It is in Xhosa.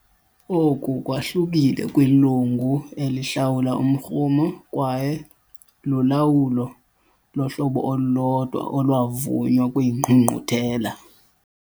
Oku kwahlukile kwilungu elihlawula umrhumo kwaye lulawulo lohlobo olulodwa olwavunywa kwiNgqungquthela.